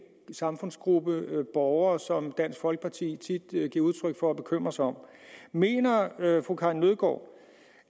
gruppe af borgere som dansk folkeparti tit giver udtryk for at bekymre sig om mener fru karin nødgaard